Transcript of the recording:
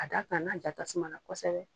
A da kan n'a ja tasuma na kosɛbɛ.